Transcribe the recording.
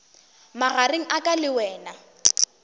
magareng a ka le wena